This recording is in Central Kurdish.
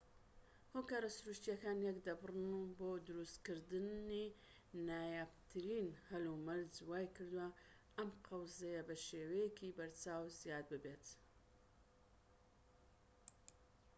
هۆکارە سروشتیەکان یەکدەبڕن بۆ دروستکردنی نایابترین هەلومەرج وای کردوە ئەم قەوزەیە بەشێوەیەکی بەرچاو زیاد ببێت